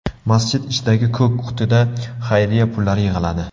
Masjid ichidagi ko‘k qutida xayriya pullari yig‘iladi.